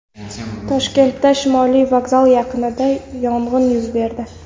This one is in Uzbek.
Toshkentda Shimoliy vokzal yaqinida yong‘in yuz berdi.